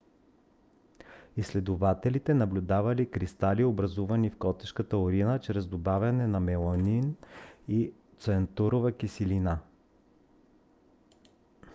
изследователите наблюдавали кристали образувани в котешката урина чрез добавяне на меламин и цианурова киселина